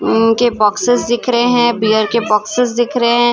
उम्म उनके बॉक्सेस दिख रहे हैं बियर के बॉक्सेस दिख रहे हैं।